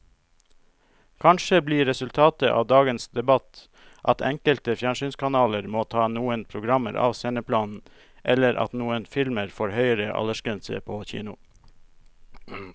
Kanskje blir resultatet av dagens debatt at enkelte fjernsynskanaler må ta noen programmer av sendeplanen eller at noen filmer får høyere aldersgrense på kino.